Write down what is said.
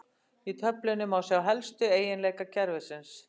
Í töflunni má sjá helstu eiginleika kerfisins.